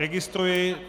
Registruji.